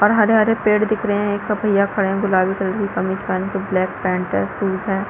और हरे-हरे पेड़ दिख रहे है एक ठो भैया खड़े है गुलाबी कलर की कमीज पहन के ब्लैक पैंट है शूज हैं।